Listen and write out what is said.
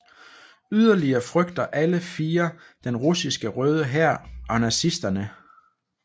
Yderligere frygter alle fire den russiske Røde Hær og nazisterne